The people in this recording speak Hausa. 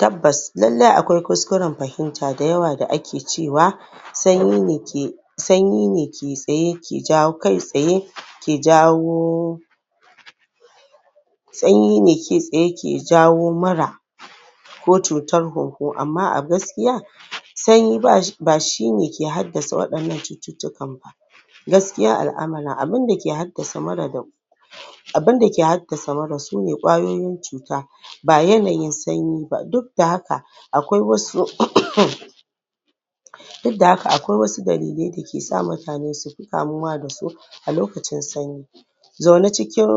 Tabbas lallai akwai kuskuren fahimta da ake cewa sanyi ne ke Sanyine kai tsaye ke jawo Sanyine kai tsaye ke jawo mura ko cutar hunhu Amma a gaskiya sanyi ba shine ke haddasa wadannan cututtukan ba ba gaskiyan alʼamura abunda ke haddasa mura abunda ke haddasa mura sune ƙwayoyin cuta ba yanayin sanyi ba duk da haka akwai wasu Duk da haka akwai wasu dalilai da kesa mutane kamuwa dasu a lokacin sanyi zaune cikin